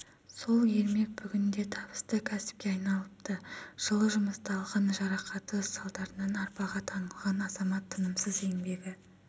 сол ермек бүгінде табысты кәсіпке айналыпты жылы жұмыста алған жарақаты салдарынан арбаға таңылған азамат тынымсыз еңбегі